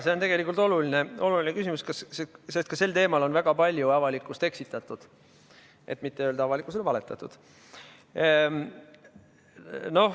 See on tegelikult oluline küsimus, sest ka sel teemal on väga palju avalikkust eksitatud, et mitte öelda, avalikkusele valetatud.